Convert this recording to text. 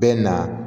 Bɛ na